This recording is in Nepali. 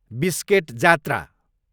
बिस्केट जात्रा